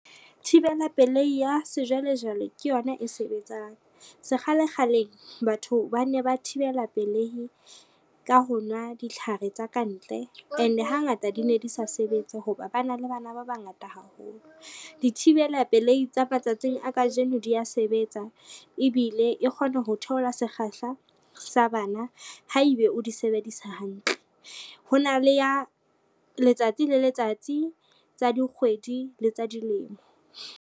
Thibela pelei ya sejwalejwale ke yona e sebetsang. Sekgalekgaleng batho ba ne ba thibela pelehi ka ho nwa ditlhare tsa kantle and hangata di ne di sa sebetse ho ba ba na le bana ba bangata haholo. Dithibela pelehi tsa matsatsing a kajeno dia sebetsa ebile e kgone ho theola sekgahla sa bana haebe o di sebedisa hantle, ho na le ya letsatsi le letsatsi, tsa dikgwedi, le tsa dilemo.